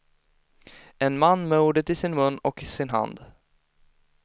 En man med ordet i sin mun och sin hand.